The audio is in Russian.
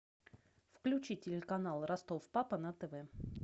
включи телеканал ростов папа на тв